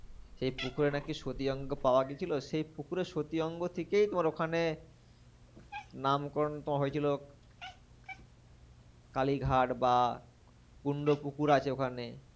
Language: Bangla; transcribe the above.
সেই পুকুরে নাকি সতীর অঙ্গ পাওয়া গেছিলো। সেই পুকুরে সতীর অঙ্গ থেকেই তোমার ওখানে নামকরণ তোমার হয়েছিল কালীঘাট বা কুন্ড পুকুর আছে ওখানে।